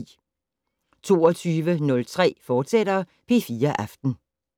22:03: P4 Aften, fortsat